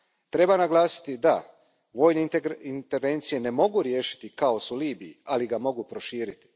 Treba naglasiti da vojne intervencije ne mogu riješiti kaos u Libiji, ali ga mogu proširiti.